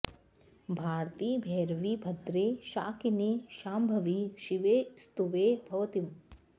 भारति भैरवि भद्रे शाकिनि शाम्भवि शिवे स्तुवे भवतीम्